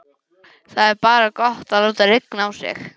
Það er bara gott að láta rigna á sig.